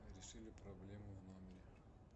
решили проблему в номере